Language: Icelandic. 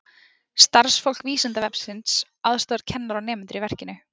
Starfsfólk Vísindavefsins aðstoðar kennara og nemendur í verkefninu.